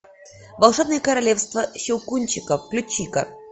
волшебное королевство щелкунчика включи ка